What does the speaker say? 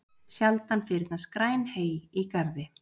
Sjaldan fyrnast græn hey í garði.